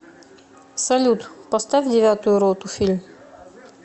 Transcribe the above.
салют поставь девятую роту фильм